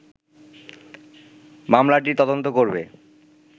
মামলাটির তদন্ত করবে